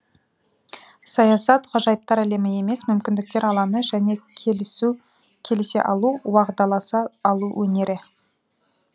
саясат ғажайыптар әлемі емес мүмкіндіктер алаңы және келісе алу уағдаласа алу өнері